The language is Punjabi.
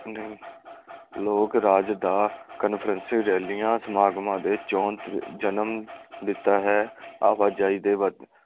ਨਹੀਂ ਲੋਕ ਰਾਜ ਦਾ ਰੈਲੀਆਂ, ਸਮਾਗਮਾਂ ਦੇ ਚੋਣ ਜਨਮ ਦਿੱਤਾ ਹੈ। ਆਵਾਜਾਈ ਦੇ ਵਧਣ